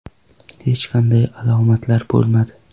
Hech qanday alomatlar bo‘lmadi.